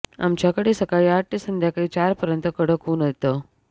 आमच्याकडे सकाळी आठ ते संध्याकाळी चारपर्यंत कडक ऊन येतं